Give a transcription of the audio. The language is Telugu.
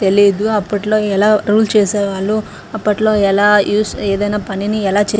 తెలీదు అప్పట్లో ఎలా రూల్ చేసేవాళ్ళో అప్పట్లో ఎలా యూస్ ఏదైనా పనిని ఎలా చే --